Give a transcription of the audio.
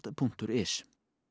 punktur is